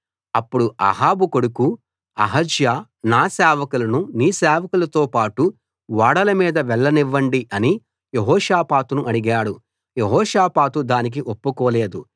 అప్పుడు అహాబు కొడుకు అహజ్యా నా సేవకులను నీ సేవకులతో పాటు ఓడల మీద వెళ్ళనివ్వండి అని యెహోషాపాతును అడిగాడు యెహోషాపాతు దానికి ఒప్పుకోలేదు